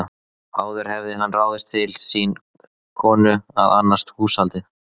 Áður hafði hann ráðið til sín konu að annast húshaldið.